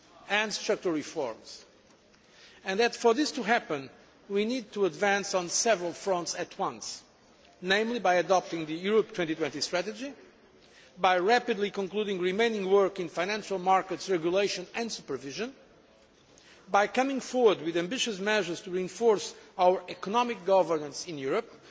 and structural reforms and that, for this to happen, we need to advance on several fronts at once, namely by adopting the Europe 2020 strategy by rapidly concluding the remaining work in financial market regulation and supervision by coming forward with ambitious measures to enforce our economic governance in Europe